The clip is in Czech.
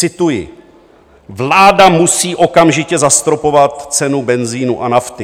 Cituji: "Vláda musí okamžitě zastropovat cenu benzinu a nafty!"